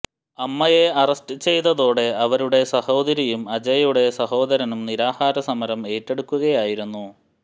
അമ്മയെ അറസ്റ്റ് ചെയ്തതോടെ അവരുടെ സഹോദരിയും അജയ്യുടെ സഹോദരനും നിരാഹാര സമരം ഏറ്റെടുക്കുകയായിരുന്നു